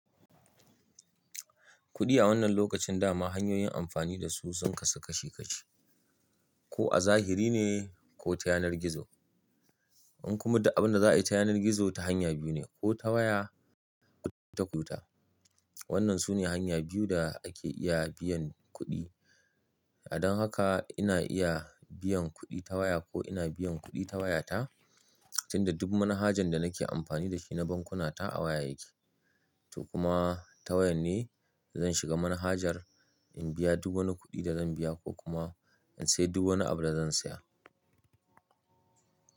Kuɗi a wannan lokacin dama hanyoyin amfani da su sun kasu kashi kashi, ko a zahiri ne ko ta yanar gizo. In kuma da abin da za a yi ta yanar gizo ta hanya biyu ne ko ta waya ko ta kututa. Wannan su ne hanya biyu da ake iya biyan kuɗi. Don haka ina iya biyan kuɗi ta waya ko ina biyan kuɗi ta wayata, tunda duk manhajan da nake amfani da shi na bankuna ta a waya yake. To kuma ta waya ne zan shiga manhajar in biya duk wani kuɗi da zan biya ko kuma in sayi duk wani abu da zan saya.